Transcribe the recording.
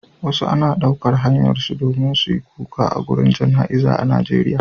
wasu ana daukar hayar su domin suyi kuka agurin jana iza a Najeriya